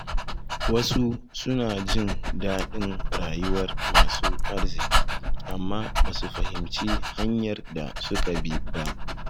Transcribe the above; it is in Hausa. Wasu suna jin daɗin rayuwar masu arziki, amma ba su fahimci hanyar da suka bi ba.